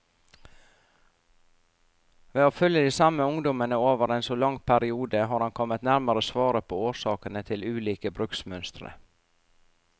Ved å følge de samme ungdommene over en så lang periode, har han kommet nærmere svaret på årsakene til ulike bruksmønstre.